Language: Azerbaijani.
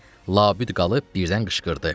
Labüd qalıb birdən qışqırdı.